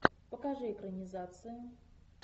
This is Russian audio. покажи экранизацию